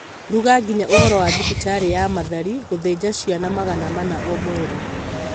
ruga nginya ũhoro wa thibitarĩ ya Mathari gũthĩnja ciana magana mana o mweri